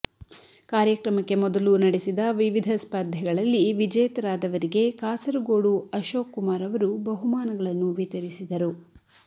ಕಾರ್ಯಕ್ರಮಕ್ಕೆ ಮೊದಲು ನಡೆಸಿದ ವಿವಿಧ ಸ್ಪರ್ಧೆಗಳಲ್ಲಿ ವಿಜೇತರಾದವರಿಗೆ ಕಾಸರಗೋಡು ಅಶೋಕ್ ಕುಮಾರ್ ಅವರು ಬಹುಮಾನಗಳನ್ನು ವಿತರಿಸಿದರು